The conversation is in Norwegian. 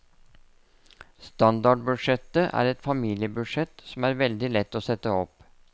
Standardbudsjettet er et familiebudsjett som er veldig lett å sette opp.